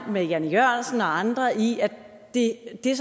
med jan e jørgensen og andre i at det det